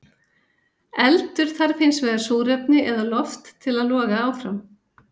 Eldur þarf hins vegar súrefni eða loft til að loga áfram.